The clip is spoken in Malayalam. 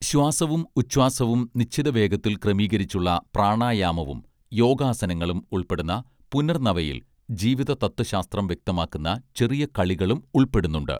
ശ്വാസവും ഉച്ഛ്വാസവും നിശ്ചിത വേഗത്തിൽ ക്രമീകരിച്ചുള്ള പ്രാണായാമവും യോഗാസനങ്ങളും ഉൾപ്പെടുന്ന പുനർനവയിൽ ജീവിത തത്വശാസ്ത്രം വ്യക്തമാക്കുന്ന ചെറിയ കളികളും ഉൾപ്പെടുന്നുണ്ട്